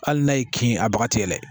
Hali n'a y'i kin a baga tigɛ